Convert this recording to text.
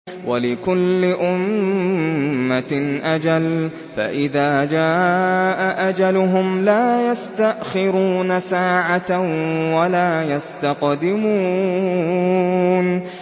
وَلِكُلِّ أُمَّةٍ أَجَلٌ ۖ فَإِذَا جَاءَ أَجَلُهُمْ لَا يَسْتَأْخِرُونَ سَاعَةً ۖ وَلَا يَسْتَقْدِمُونَ